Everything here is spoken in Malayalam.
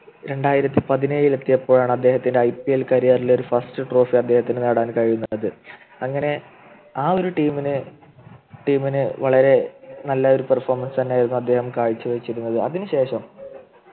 രണ്ടായിരത്തി പതിനേഴു എത്തിയപ്പോഴാണ് അദ്ദേഹത്തിന് IPL career ൽ ഒരു First Trophy അദ്ദേഹത്തിന് നേടാൻ കഴിഞ്ഞത് അങ്ങനെ ആ ഒരു Team ന് Team നു വളരെ നല്ലൊരു Perfomance തന്നെയായിരുന്നു അദ്ദേഹം കാഴ്ച വച്ചിരുന്നത് അതിനുശേഷം